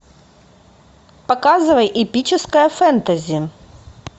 показывай эпическое фэнтези